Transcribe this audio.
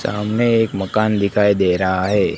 सामने एक मकान दिखाई दे रहा है।